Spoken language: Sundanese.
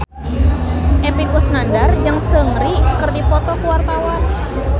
Epy Kusnandar jeung Seungri keur dipoto ku wartawan